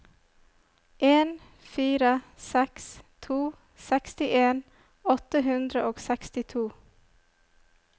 en fire seks to sekstien åtte hundre og sekstito